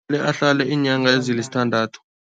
Ahlale iinyanga ezilisithandathu.